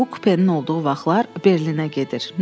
Bu kupenin yol olduğu vaxtlar Berlinə gedir.